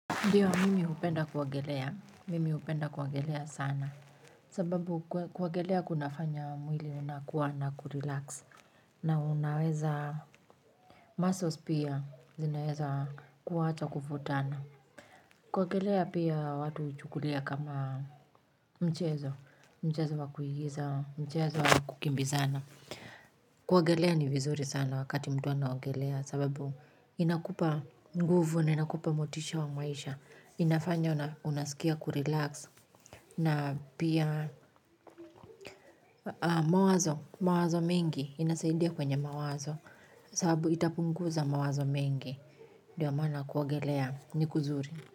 Ndiyo mimi hupenda kuogelea, mimi hupenda kuogelea sana. Sababu kuogelea kunafanya mwili unakuwa na kurelax na unaweza muscles pia zinaweza kuacha kuvutana. Kuogelea pia watu huchukulia kama mchezo, mchezo wa kuigiza mchezo wa kukimbizana kuogelea ni vizuri sana wakati mtu anaogelea sababu inakupa nguvu na inakupa motisha wa maisha. Inafanya unaskia kurelax na pia mawazo mengi, inasaidia kwenye mawazo kwa sababu itapunguza mawazo mengi ndio maana kuogelea ni kuzuri.